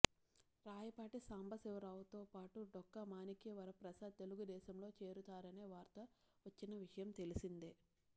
రాయపాటి సాంబశివ రావుతో పాటు డొక్కా మాణిక్యవరప్రసాద్ తెలుగుదేశంలో చేరుతారనే వార్తలు వచ్చిన విషయం తెలిసిందే